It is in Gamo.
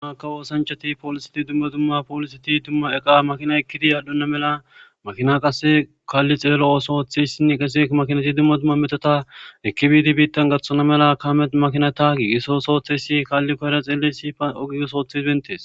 Dumma kawo osanchati poolisati dumma dumma pooliseti dumma eqa makina ekkidi aadunna mela makina qasse kaalli xeelo ooso oththeyssinne qese makinati dumma dumma metota ekkibiidi biittan gaththona mela kaamet makina taagi iso sootheyssi kaalli koyera xeeliyays oge oso othiyays bentees